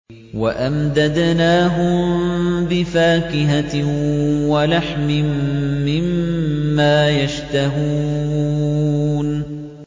وَأَمْدَدْنَاهُم بِفَاكِهَةٍ وَلَحْمٍ مِّمَّا يَشْتَهُونَ